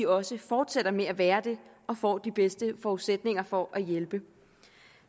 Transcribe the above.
også fortsætter med at være det og får de bedste forudsætninger for at hjælpe